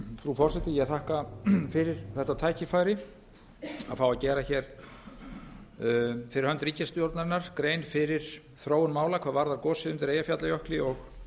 frú forseti ég þakka fyrir þetta tækifæri að fá að gera fyrir hönd ríkisstjórnarinnar grein fyrir þróun mála hvað varðar gosið undir eyjafjallajökli og